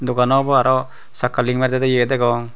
dogan awbw arw sakka ling mari dedey eye degong.